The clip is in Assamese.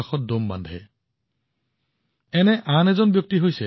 চন্দ্ৰকিশোৰজীৰ এই প্ৰচেষ্টাই সজাগতা বৃদ্ধি কৰে আৰু লগতে অনুপ্ৰেৰণাও প্ৰদান কৰে